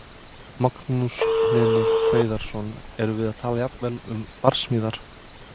Magnús Hlynur Hreiðarsson: Erum við að tala jafnvel um barsmíðar?